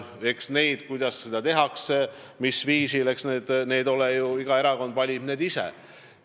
Eks selle, kuidas seda tehakse, mis viisil, valib iga erakond ise.